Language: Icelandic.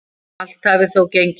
Allt hafi þó gengið vel.